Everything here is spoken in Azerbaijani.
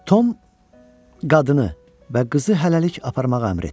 Tom qadını və qızı hələlik aparmağa əmr etdi.